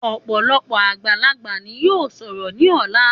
Òpòlopò àgbàlagbà ni yóò sòrò ní òla